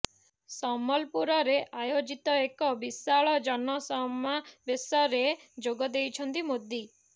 ସମ୍ୱଲପୁରରେ ଆୟୋଜିତ ଏକ ବିଶାଳ ଜନସମାବେଶରେ ଯୋଗ ଦେଇଛନ୍ତି ମୋଦି